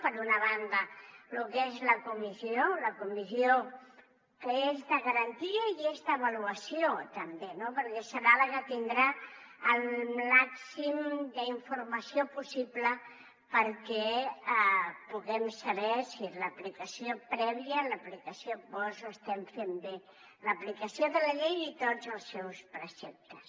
per una banda lo que és la comissió la comissió que és de garantia i és d’avaluació també no perquè serà la que tindrà el màxim d’informació possible perquè puguem saber si en l’aplicació prèvia i en l’aplicació post ho estem fent bé l’aplicació de la llei i de tots els seus preceptes